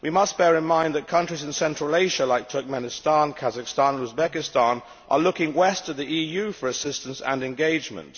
We must bear in mind that countries in Central Asia like Turkmenistan, Kazakhstan and Uzbekistan are looking west to the EU for assistance and engagement.